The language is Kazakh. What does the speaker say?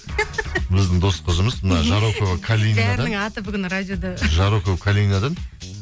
біздің дос қызымыз мына жарокова аты бүгін радиода жарокова калинадан